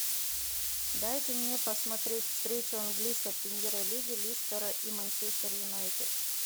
дайте мне посмотреть встречу английской премьер лиги лестера и манчестер юнайтед